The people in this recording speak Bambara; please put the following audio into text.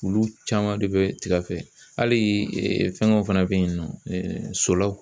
Olu caman de bɛ tiga fɛ hali fɛngɛw fana bɛ yen nɔ solaw.